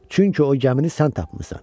Çünki o gəmini sən tapmısan.